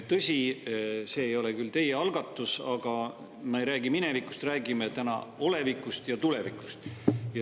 Tõsi, see ei ole küll teie algatus, aga ma ei räägi minevikust, räägime täna olevikust ja tulevikust.